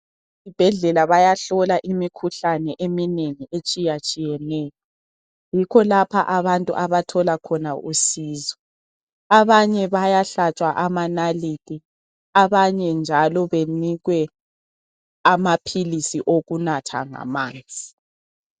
Esibhedlela bayahlola imikhuhlane eminengi etshiyatshiyeneyo, yikho lapha abantu abathola khona usizo. Abanye bayahlatshwa amanalithi abanye njalo benikwe amaphilisi okunatha ngamanzi.